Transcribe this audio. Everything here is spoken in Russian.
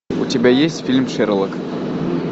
у тебя есть фильм шерлок